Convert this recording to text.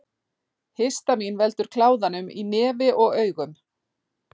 Histamín veldur kláðanum í nefi og augum.